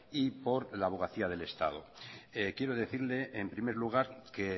y por la abogacía del estado quiero decirle en primer lugar que